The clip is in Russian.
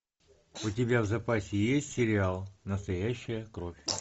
у тебя в запасе есть сериал настоящая кровь